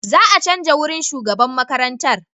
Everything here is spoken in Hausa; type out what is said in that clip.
Za a canja wurin shugaban makarantar.